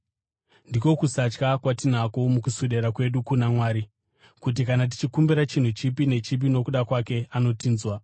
Ndiko kusatya kwatinako mukuswedera kwedu kuna Mwari: kuti kana tichikumbira chinhu chipi nechipi nokuda kwake, anotinzwa.